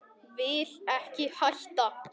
Vil ekki hætta.